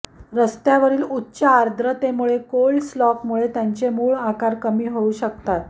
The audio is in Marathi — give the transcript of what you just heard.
रस्त्यावरील उच्च आर्द्रतामुळे कोल्स्ड लॉक मुळे त्यांचे मूळ आकार कमी होऊ शकतात